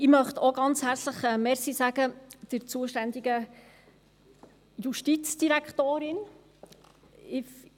Ich möchte auch der zuständigen Justizdirektorin ganz herzlich danken.